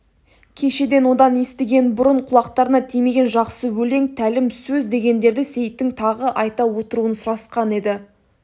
кешеден одан естіген бұрын құлақтарына тимеген жақсы өлең тәлім сөз дегендерді сейіттің тағы айта отыруын сұрасқан еді